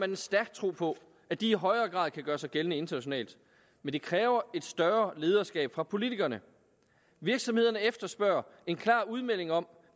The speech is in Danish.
en stærk tro på at de i højere grad kan gøre sig gældende internationalt men det kræver et større lederskab fra politikerne virksomhederne efterspørger en klar udmelding om